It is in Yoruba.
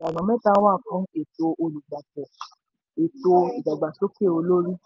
láti ṣe èyí ìlànà mẹ́ta wà fún ètò olùgbapò: ète ìdàgbàsókè olórí.